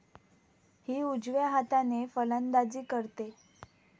हि उजव्या हाताने फलंदाजी करते.